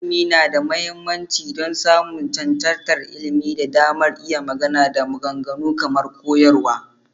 Ilimi yana da mahimmanci don samun cancantar ilimi da damar iya magana da maganganu kamar koyarwa.